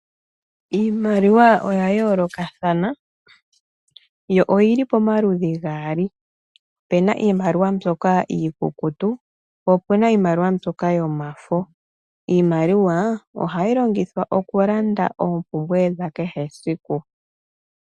Iimaliwa oyaayolokathana, yo oyili pamaludhi gaali. Opena iimaliwa mbyoka iikukutu, opena iimaliwa mbyoka yomafo. Iimaliwa ohayi longithwa oompumbwe dhakeshe esiku.